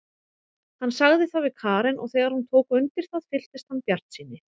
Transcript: Hann sagði það við Karen og þegar hún tók undir það fylltist hann bjartsýni.